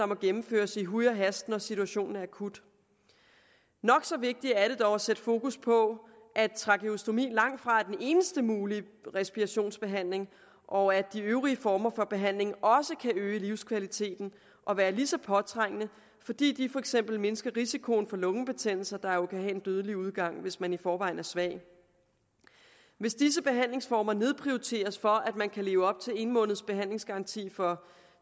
må gennemføres i huj og hast når situationen er akut nok så vigtigt er det dog at sætte fokus på at trakeostomi langtfra er den eneste mulige respirationsbehandling og at de øvrige former for behandling også kan øge livskvaliteten og være lige så påtrængende fordi de for eksempel mindsker risikoen for lungebetændelser der jo kan have en dødelig udgang hvis man i forvejen er svag hvis disse behandlingsformer nedprioriteres for at man kan leve op til en måneds behandlingsgaranti for